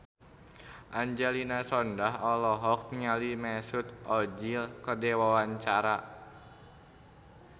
Angelina Sondakh olohok ningali Mesut Ozil keur diwawancara